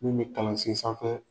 Mun bi kalansen sanfɛ